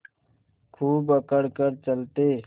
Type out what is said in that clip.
खूब अकड़ कर चलते